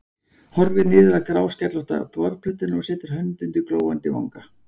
Horfir niður á gráskellótta borðplötuna og setur hönd undir glóandi vanga.